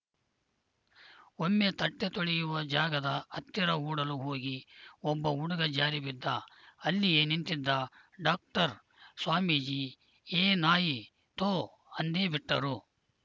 ಒಮ್ಮೆ ತಟ್ಟೆತೊಳೆಯುವ ಜಾಗದ ಹತ್ತಿರ ಓಡಲು ಹೋಗಿ ಒಬ್ಬ ಹುಡುಗ ಜಾರಿ ಬಿದ್ದ ಅಲ್ಲಿಯೇ ನಿಂತಿದ್ದ ಡಾಕ್ಟರ್‌ ಸ್ವಾಮೀಜಿ ಏ ನಾಯಿ ತೂ ಅಂದೇ ಬಿಟ್ಟರು